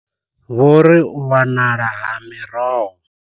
Vho ri u wanala ha miroho